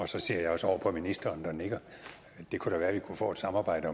så ser jeg også over på ministeren der nikker det kunne da være vi kunne få et samarbejde